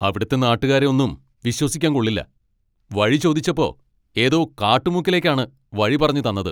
അവിടുത്തെ നാട്ടുകാരെ ഒന്നും വിശ്വസിക്കാൻ കൊള്ളില്ല, വഴി ചോദിച്ചപ്പോ ഏതോ കാട്ടുമുക്കിലേക്കാണ് വഴി പറഞ്ഞ് തന്നത്.